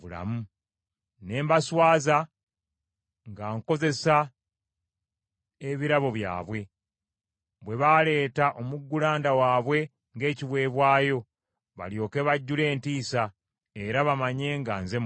ne mbaswaza nga nkozesa ebirabo byabwe, bwe baleeta omuggulanda waabwe ng’ekiweebwayo, balyoke bajjule entiisa, era bamanye nga nze Mukama .’